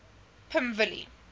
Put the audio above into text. pimvilli